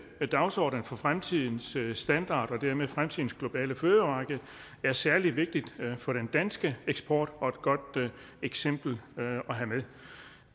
dagsordenen for fremtidens standarder og dermed fremtidens globale fødevaremarked er særlig vigtigt for den danske eksport og et godt eksempel at have med